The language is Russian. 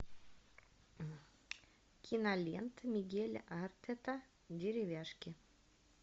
кинолента мигеля артета деревяшки